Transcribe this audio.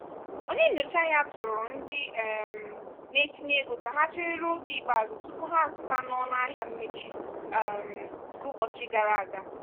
onye nyocha ahịa tụụrụ ndị um na-etinye ego ka ha chere ruo oge ikpeazụ tupu ha zụta na ọnụahịa mmechi um nke ụbọchị gara aga.